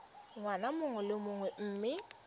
ngwaga mongwe le mongwe mme